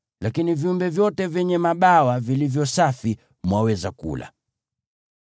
Lakini viumbe vyote vyenye mabawa vilivyo safi mwaweza kula.